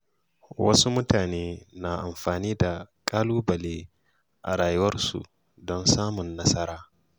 Wasu mutane na amfani da ƙalubale a rayuwarsu don samun nasara.